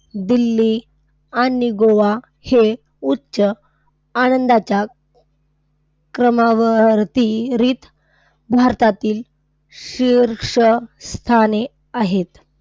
दिल्ली, आणि गोवा हे उच्च आनंदाच्या क्रमवारीत भारतातील शीर्ष स्थानी आहेत.